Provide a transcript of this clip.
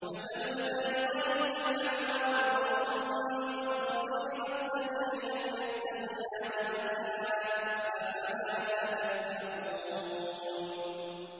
۞ مَثَلُ الْفَرِيقَيْنِ كَالْأَعْمَىٰ وَالْأَصَمِّ وَالْبَصِيرِ وَالسَّمِيعِ ۚ هَلْ يَسْتَوِيَانِ مَثَلًا ۚ أَفَلَا تَذَكَّرُونَ